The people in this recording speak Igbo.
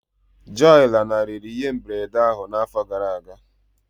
Joy lanarịrị ihe mberede ahụ n'afọ gara aga